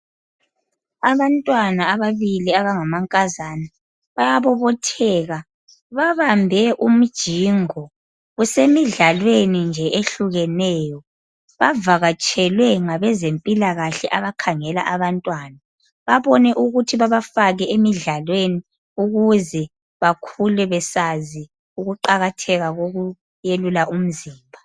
Abantwana ababili abangamankazana bayabobotheka babambe umjingo. Kusemidlalweni nje ehlukeneyo Bavakatshelwe ngabezempilakahle abakhangela abantwana. Babone ukuthi babafake emidlalweni ukuze bakhule besazi ukuqakatheka kokwelula umzimba.